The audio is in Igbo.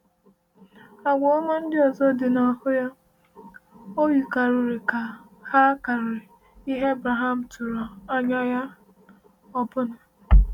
Àgwà ọma ndị ọzọ dị n’ahụ ya o yikarịrị ka ha karịrị ihe Abraham tụrụ anya ya ọbụna.